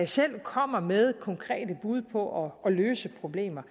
selv komme med konkrete bud på at løse problemer